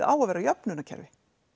á að vera jöfnunarkerfi